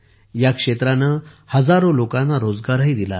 या क्षेत्राने हजारो लोकांना रोजगारही दिला आहे